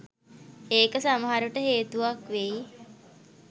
ඒක සමහර විට හේතුවක් වෙයි